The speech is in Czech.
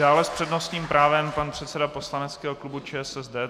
Dále s přednostním právem pan předseda poslaneckého klubu ČSSD.